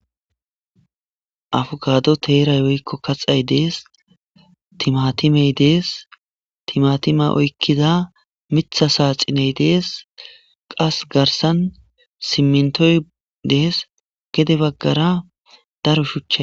Abukaadey teerayi woykko kaxay de7eesi. Timatimey de7eesi,timatima oykkiza miththa saaxineyi de7eesi,qasse garssan siminttoyi de7ees,gede baggara daro shuchchay...